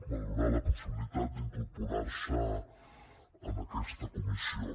valorar la possibilitat d’incorporar se en aquesta comissió